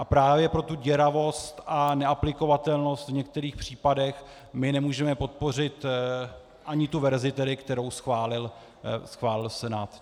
A právě pro tu děravost a neaplikovatelnost v některých případech my nemůžeme podpořit ani tu verzi, kterou schválil Senát.